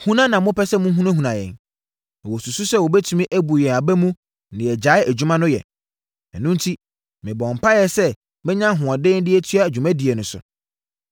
Huna na na wɔpɛ sɛ wɔhunahuna yɛn. Na wɔsusu sɛ wɔbɛtumi abu yɛn aba mu na yɛgyae adwuma no yɛ. Ɛno enti, mebɔɔ mpaeɛ sɛ mɛnya ahoɔden de atoa dwumadie no so.